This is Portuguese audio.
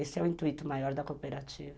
Esse é o intuito maior da cooperativa.